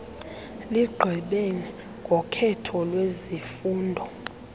ligqibe ngokhetho lwezifundo